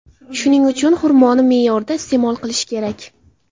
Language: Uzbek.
Shuning uchun xurmoni me’yorida iste’mol qilish kerak.